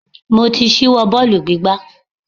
Mo ti ṣíwọ́ bọ́ọ̀lù gbígbá.